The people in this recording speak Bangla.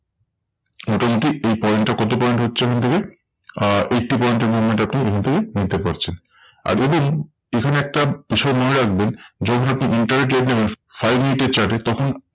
মোটামুটি এই point এ করতে পারেন হচ্ছে এখন থেকে আহ eighty point এর movement আপনি এখান থেকে নিতে পারছেন। আর দেখুন এখানে একটা বিষয় মনে রাখবেন, যদি আপনি intraday দেখেন five মিনিটের chart এ তখন